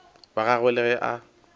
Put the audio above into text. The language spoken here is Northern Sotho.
wa gagwe le ge a